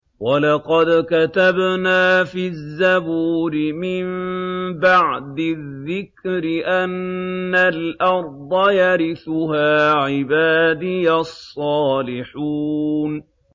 وَلَقَدْ كَتَبْنَا فِي الزَّبُورِ مِن بَعْدِ الذِّكْرِ أَنَّ الْأَرْضَ يَرِثُهَا عِبَادِيَ الصَّالِحُونَ